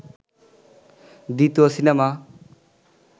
দ্বিতীয় সিনেমা